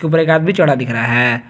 ऊपर एक आदमी चढ़ा दिख रहा है।